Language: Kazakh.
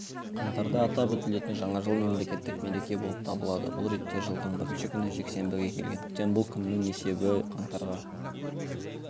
қаңтарда атап өтілетін жаңа жыл мемлекеттік мереке болып табылады бұл ретте жылдың бірінші күні жексенбіге келгендіктен бұл күннің есесі қаңтарға